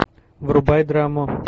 врубай драму